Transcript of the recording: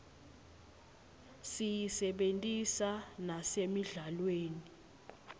siyisebentisa nasemidlalweni